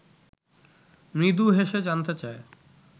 মৃদু হেসে জানতে চায়